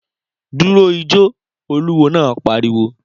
Dúró ijó, olúwo náà pariwo